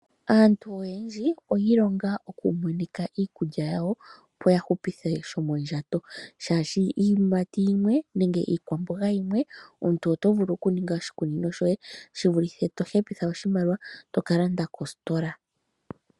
Aantu oyendji oyi ilonga oku munika iikulya yawo m, opo ya hupithesho mondjato, shaashi iiyimati yimwe nenge iikwamboga yimwe omuntu vulu oku ninga oshikunino shoye shi vulithe to hepitha oshimaliwa shiye toka landa kostola.